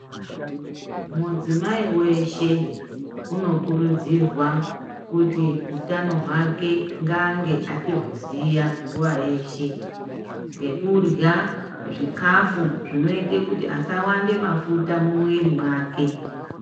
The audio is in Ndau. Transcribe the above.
Mudzimai weshe unokurudzirwa kuti utano hwake ngaange achiuziya nguwa yeshe, ngekurya zvikafu zvinoita kuti asawande mafuta mumuwiri mwake.